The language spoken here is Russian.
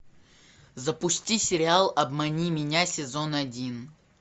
запусти сериал обмани меня сезон один